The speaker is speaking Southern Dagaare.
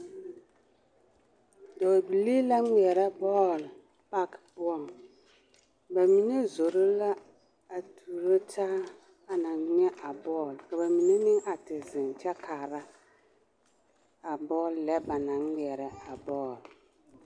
Dɔɔbilii la ŋmeɛrɛ bɔɔl paki poɔŋ bamine zoro la a tuuro taa ana ŋmɛ a bɔɔl ka bamine meŋ a te zeŋ kyɛ kaara a bɔɔl lɛ banaŋ ŋmeɛrɛ a bɔɔl.